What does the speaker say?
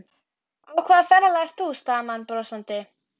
Á hvaða ferðalagi ert þú? stamaði hann brosandi.